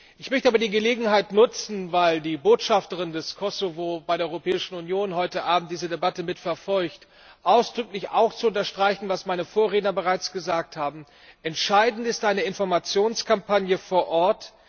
Ich möchte aber die Gelegenheit nutzen weil die Botschafterin des Kosovo bei der Europäischen Union heute Abend diese Debatte mitverfolgt ausdrücklich zu unterstreichen, was meine Vorredner bereits gesagt haben Entscheidend ist eine Informationskampagne vor Ort.